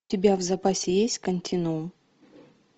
у тебя в запасе есть континуум